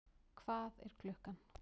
Hvað er klukkan?